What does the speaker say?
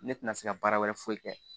Ne tɛna se ka baara wɛrɛ foyi kɛ